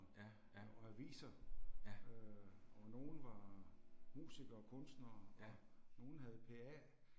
Ja, ja. Ja. Ja